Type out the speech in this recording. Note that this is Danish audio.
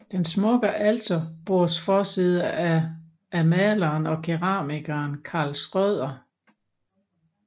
Den smukke alterbordsforside er af maleren og keramikeren Karl Schrøder